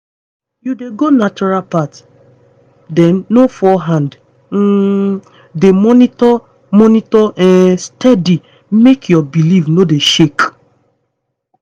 you dey go natural path? then no fall hand. um dey monitor monitor um steady make your belief no dey shake